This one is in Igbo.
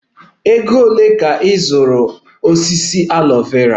Ego ole ka ị zụrụ osisi aloe Vera?